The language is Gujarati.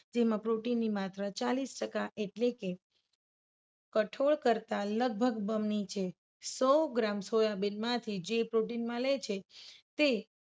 જેમાં protein ની માત્રા ચાલીસ ટકા એટલે કે કઠોળ કરતા લગભગ બમણી છે. સો ગ્રામ સોયાબીન માંથી જે protein મળે છે. તે